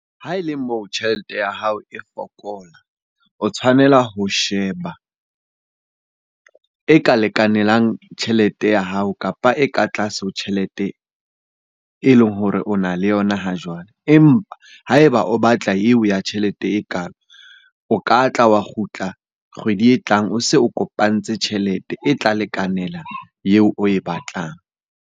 Ha e le moo tjhelete ya hao e fokola, o tshwanela ho sheba e ka lekanelang tjhelete ya hao kapa e ka tlase ho tjhelete e leng hore o na le yona ha jwale. Empa ha eba o batla eo ya tjhelete ekalo, o ka tla wa kgutla kgwedi e tlang o se o kopantse tjhelete e tla lekanela eo oe batlang.